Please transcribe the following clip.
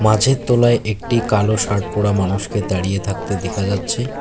গাছের তলায় একটি কালো শার্ট পরা মানুষকে দাঁড়িয়ে থাকতে দেখা যাচ্ছে।